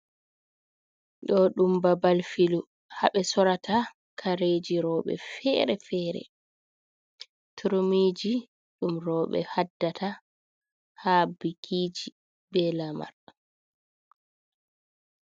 Do dum babal filu, habe sorata kareji robe fere-fere. Turmiji dum robe haddata ha bikiji be lamar.